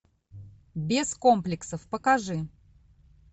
без комплексов покажи